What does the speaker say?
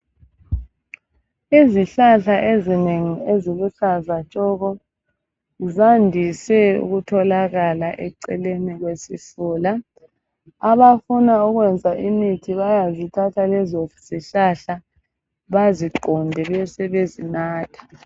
izihlahla ezinengi eziluhlaza tshoko zandise ukutholaka eceleni kwesifula abafuna ukuyenza imithi bayazithatha lezo zihlahla baziqunte besebezi natha